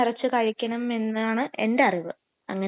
ഇനി കുഴിമന്തി കുഴിമന്തി ഒക്കെ നല്ലതല്ലേ